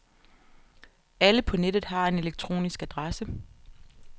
Alle på nettet har en elektronisk adresse.